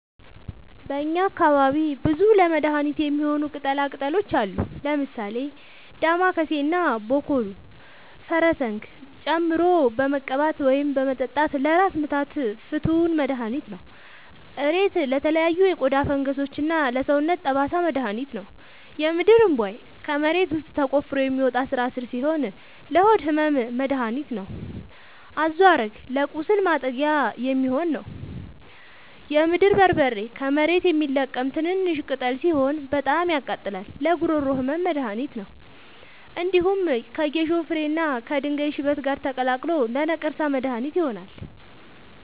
በእኛ አካባቢ ብዙ ለመድሀነት የሚሆኑ ቅጠላ ቅጠሎች አሉ። ምሳሌ፦ ዳማከሴ እና ቦኮሉ(ፈረስዘንግ) ጨምቆ በመቀባት ወይም በመጠጣት ለራስ ምታት ፍቱን መድሀኒት ነው። እሬት ለተለያዩ የቆዳ ፈንገሶች እና ለሰውነት ጠባሳ መድሀኒት ነው። የምድርእንቧይ ከመሬት ውስጥ ተቆፍሮ የሚወጣ ስራስር ሲሆን ለሆድ ህመም መደሀኒት ነው። አዞሀረግ ለቁስል ማጥጊያ የሚሆን ነው። የምድር በርበሬ ከመሬት የሚለቀም ትንሽሽ ቅጠል ሲሆን በጣም ያቃጥላል ለጉሮሮ ህመም መድሀኒት ነው። እንዲሁም ከጌሾ ፍሬ እና ከድንጋይ ሽበት ጋር ተቀላቅሎ ለነቀርሳ መድሀኒት ይሆናል።